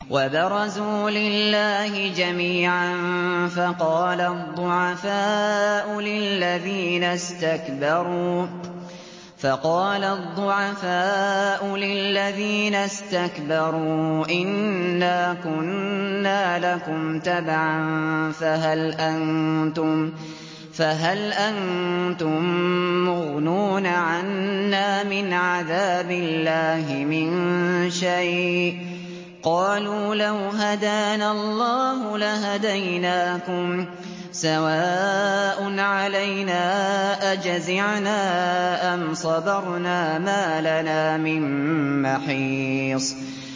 وَبَرَزُوا لِلَّهِ جَمِيعًا فَقَالَ الضُّعَفَاءُ لِلَّذِينَ اسْتَكْبَرُوا إِنَّا كُنَّا لَكُمْ تَبَعًا فَهَلْ أَنتُم مُّغْنُونَ عَنَّا مِنْ عَذَابِ اللَّهِ مِن شَيْءٍ ۚ قَالُوا لَوْ هَدَانَا اللَّهُ لَهَدَيْنَاكُمْ ۖ سَوَاءٌ عَلَيْنَا أَجَزِعْنَا أَمْ صَبَرْنَا مَا لَنَا مِن مَّحِيصٍ